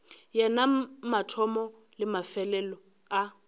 yena mathomo le mefelelo a